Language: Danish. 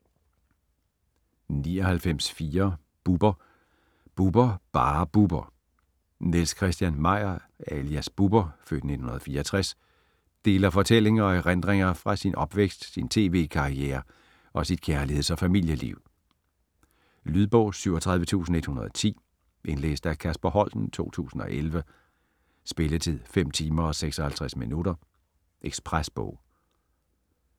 99.4 Bubber Bubber: Bare Bubber Niels Christian Meyer alias Bubber (f. 1964) deler fortællinger og erindringer fra sin opvækst, sin tv-karriere og sit kærligheds- og familieliv. Lydbog 37110 Indlæst af Kasper Holten, 2011. Spilletid: 5 timer, 56 minutter. Ekspresbog